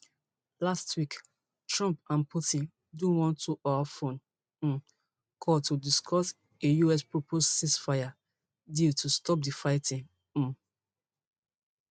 last week trump and putin do one twohour phone um call to discuss a usproposed ceasefire deal to stop di fighting um